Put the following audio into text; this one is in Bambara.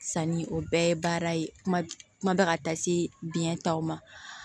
Sanni o bɛɛ ye baara ye kuma kuma bɛ ka taa se biyɛn taw ma